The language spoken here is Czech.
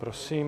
Prosím.